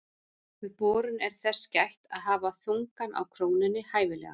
Við borun er þess gætt að hafa þungann á krónunni hæfilegan.